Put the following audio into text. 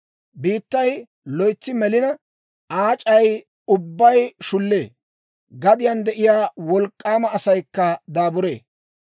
Biittay loytsi melina, Aa aac'ay ubbay shullee; gadiyaan de'iyaa wolk'k'aama asaykka daaburee.